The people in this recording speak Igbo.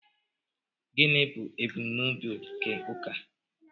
gịnị bụ ebumnobi nke ụka